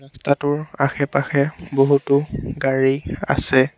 ৰাস্তাটোৰ আশে পাশে বহুতো গাড়ী আছে।